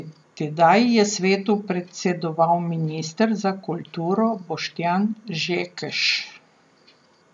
Tedaj je svetu predsedoval minister za kulturo Boštjan Žekš.